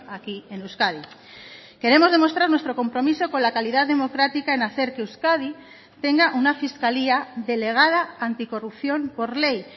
aquí en euskadi queremos demostrar nuestro compromiso con la calidad democrática en hacer que euskadi tenga una fiscalía delegada anticorrupción por ley